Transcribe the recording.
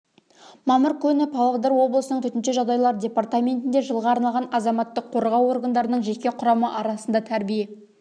мамыр күні павлодар облысының төтенше жағдайлар департаментінде жылға арналған азаматтық қорғау органдарының жеке құрамы арасында тәрбие